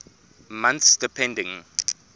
months depending